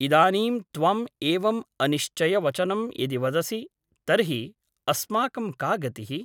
इदानीं त्वम् एवम् अनिश्चयवचनं यदि वदसि तर्हि अस्माकं का गतिः ?